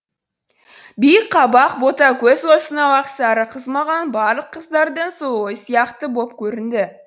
биік қабақ бота көз осынау ақ сары қыз маған барлық қыздардың сұлуы сияқты боп көрінді